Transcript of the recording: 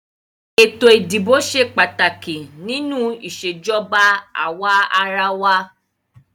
Ètò ìdìbò ṣe pàtàkì nínú ìṣèjọba àwàrawa.